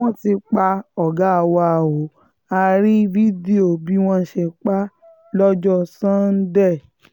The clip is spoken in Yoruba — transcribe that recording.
wọ́n ti pa ọ̀gá wa ó a rí fídíò bí wọ́n ṣe pa á lọ́jọ́ sànńdẹ̀